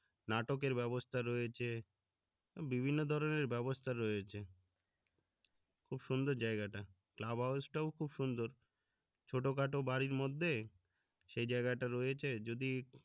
নাটকের ব্যাবস্থা রয়েছে বিভিন্ন ধরনের ব্যাবস্থা রয়েছে খুব সুন্দর জায়গা টা খুব সুন্দর ছোট খাটো বাড়ির মধ্যে সেই জায়গা টা রয়েছে যদি